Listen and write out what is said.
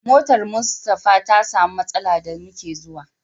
Motar Mustapha ta samu matsala da muke zuwa.